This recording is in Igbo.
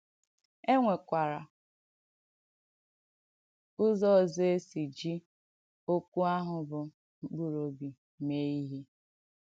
È nwèkwàrà ùzò òzọ̀ è sì jì òkwù àhụ bụ́ “mkpụrụ̀ òbì” mèè ìhé.